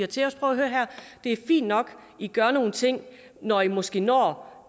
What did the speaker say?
til os prøv at høre her det er fint nok i gør nogle ting når i måske når